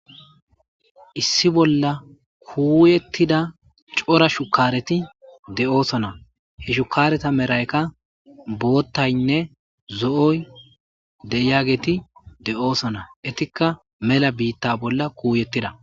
Issi bolla kuuyettida cora shukkareti de7oosona. He shukkareta merayka boottaynne zo7oy de7iyageti de7oosona. Etikka mela biitta bolla kuuyettida